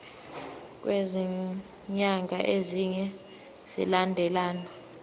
kwezinyanga ezine zilandelana